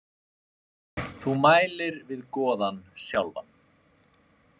Þú mælir við goðann sjálfan.